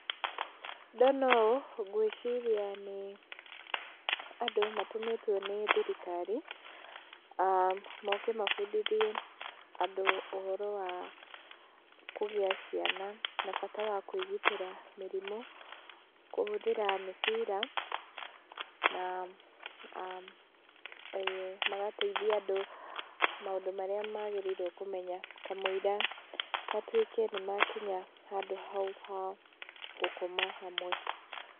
Ndona ũũ, ngwĩciria nĩ andũ matũmĩtwo nĩ thirikari mooke mathomithie andũ ũhoro wa kũgĩa ciana na bata wa kwĩgitĩra mĩrimũ kũhũthĩra mĩbira, na magateithia andũ maũndũ marĩa magĩrĩirwo kũmenya kamũira matuĩke nĩ makinya handũ hau ha gũkoma hamwe.